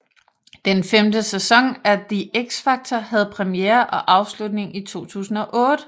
Den femte sæson af The X Factor havde premiere og afslutning i 2008